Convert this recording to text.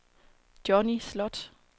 Johnny Sloth